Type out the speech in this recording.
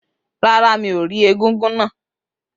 Rárá, mi ò rí egúngún náà.